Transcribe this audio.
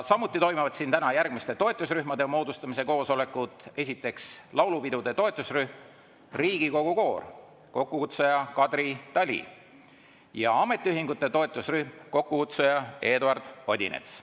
Samuti toimuvad siin järgmiste toetusrühmade moodustamise koosolekud: esiteks, laulupidude toetusrühm "Riigikogu koor", kokkukutsuja Kadri Tali, ja ametiühingute toetusrühm, kokkukutsuja Eduard Odinets.